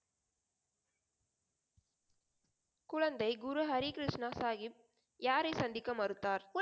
குழந்தை குரு ஹரி கிருஷ்ணா சாகிப் யாரை சந்திக்க மறுத்தார்?